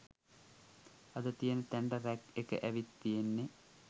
අද තියෙන තැනට රැග් එක ඇවිත් තියෙන්නේ